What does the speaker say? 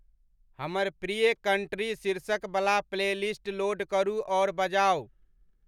हमर प्रिय कंट्री शीर्षक बला प्लेलिस्ट लोड करू अउर बजाऊ